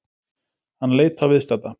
Hann leit á viðstadda.